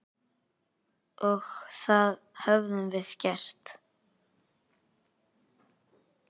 Og það höfum við gert.